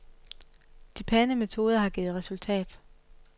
De pæne metoder har givet resultat.